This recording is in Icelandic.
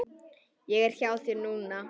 Ég er hjá þér núna.